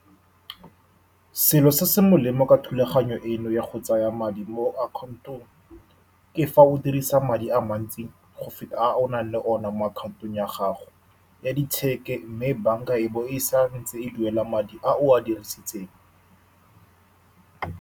Selo se se molemo ka thulaganyo eno ya go tsaya madi mo account-ong, ke fa o dirisa madi a mantsi go feta a o nang le one mo akhaontong ya gago ya , mme bank-a e bo e sa ntse e duela madi a o a dirisitseng.